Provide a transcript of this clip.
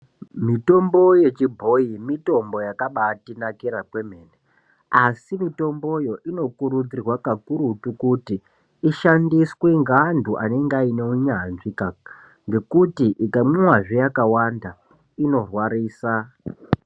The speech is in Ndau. Mitombo yechibhoyi mitombo yakabaatinakira kwememene asi mitomboyo inokurudzirwa kakurutu kuti ishandiswe ngeanthu anenge aine unyanzvi ngekuti ikamwiwazve yakawanda inorwarisa.